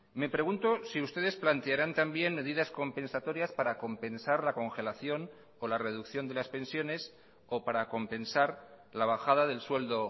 me pregunto si ustedes plantearán también medidas compensatorias para compensar la congelación o la reducción de las pensiones o para compensar la bajada del sueldo